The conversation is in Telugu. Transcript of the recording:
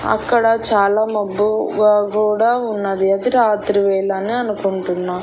అక్కడ చాలా మబ్బుగా కూడా ఉన్నది. అది రాత్రి వేళ అని అనుకుంటున్నా.